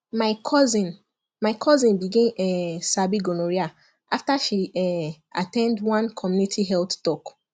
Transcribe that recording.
my cousin my cousin begin um sabi gonorrhea after she um at ten d one community health talk